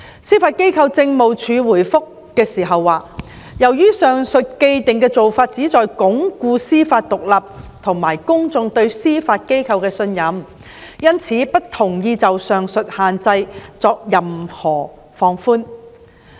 司法機構政務處回覆時表示，由於上述的既定做法旨在鞏固司法獨立和公眾對司法機構的信任，因此不同意就上述限制作任何放寬。